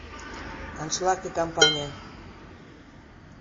аншлаг и компания